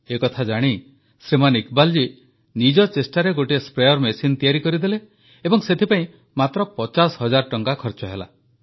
ଏକଥା ଜାଣି ଶ୍ରୀମାନ ଇକବାଲ ଜୀ ନିଜ ଚେଷ୍ଟାରେ ଗୋଟିଏ ସ୍ପ୍ରେୟାର ମେସିନ୍ ତିଆରି କରିଦେଲେ ଏବଂ ସେଥିପାଇଁ ମାତ୍ର ପଚାଶ ହଜାର ଟଙ୍କା ଖର୍ଚ୍ଚ ହେଲା